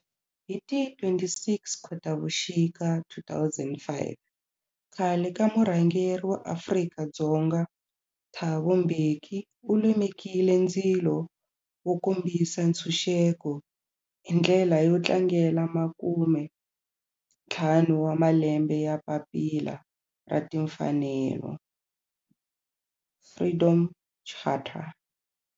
Hi ti 26 Khotavuxika 2005 khale ka murhangeri wa Afrika-Dzonga Thabo Mbeki u lumekile ndzilo wo kombisa ntshuxeko, hi ndlela yo tlangela makumentlhanu wa malembe ya papila ra timfanelo, Freedom Charter.